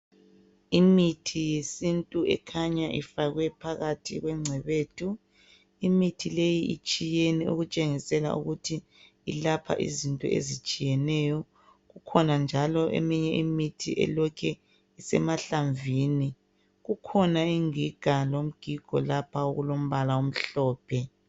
Imithi yesintu ekhanya ifakwe phakathi kwengcebethu. Imithi leyi itshiyene okutshengisela ukuthi ilapha izinto ezitshiyeneyo. Kukhona njalo eminye imithi elokhe isemahlamvini kukhona ingiga lomgigo lapho okulombala omhlophe.